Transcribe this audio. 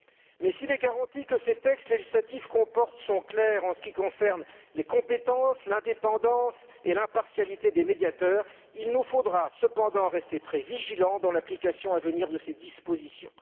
Mais s'il est garanti que ces textes législatifs sont clairs en ce qui concerne les compétences, l'indépendance et l'impartialité des médiateurs, il nous faudra cependant rester très vigilants dans l'application à venir de ces dispositions.